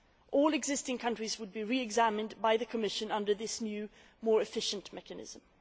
All existing countries would be re examined by the Commission under this new, more efficient mechanism.